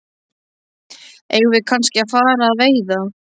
Eigum við kannski að fara að veiða?